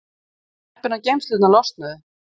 Við vorum heppin að geymslurnar losnuðu.